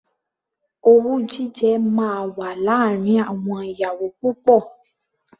Owú jíjẹ máa wà láàárín àwọn ìyàwó púpọ̀.